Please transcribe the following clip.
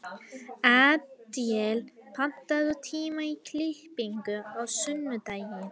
Adíel, pantaðu tíma í klippingu á sunnudaginn.